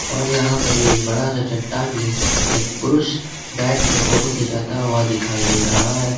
और यहां पर ही एक बड़ा चट्टान में एक पुरुष बैठ के फोटो खींचता हुआ दिखाई दे रहा हैं।